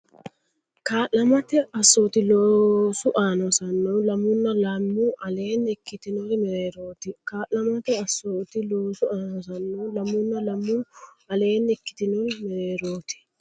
Kaa’lamate assooti loosu aana hosannohu lamunna lamu aleenni ikkitinori mereerooti Kaa’lamate assooti loosu aana hosannohu lamunna lamu aleenni ikkitinori mereerooti.